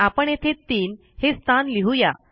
आपण येथे 3 हे स्थान लिहू या